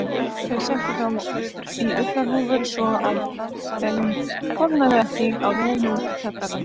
Þau settu þá í ullarhúfur svo að þeim kólnaði ekki á leiðinni út í kjallarann.